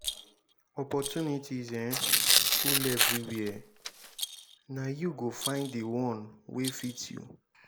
opportunities um full everywhere na you go find di one wey fit you.